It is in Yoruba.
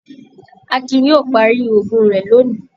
Akin yóò parí òògùn rẹ̀ lóni.